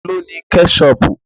Ta ló ní Kẹ́ṣọpù?